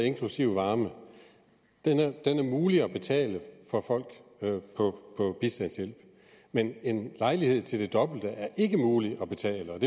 inklusive varme er mulig at betale for folk på bistandshjælp men en lejlighed til det dobbelte er ikke mulig at betale